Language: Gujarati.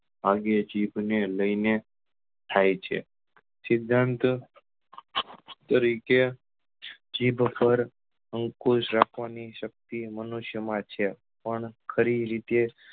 ભાગ્ય જીભ ને લઈને થાય છે સિધાંત તરીકે જીભ પર અંકુશ રાખવા ની શક્તિ મનુષ્ય માં છે પણ ખરી રીતે